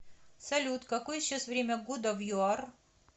салют какое сейчас время года в юар